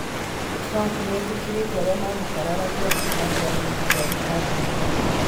Trump nĩ etĩkĩrĩte arĩa mamũkararagia kuuma kĩama-inĩ kĩa Republican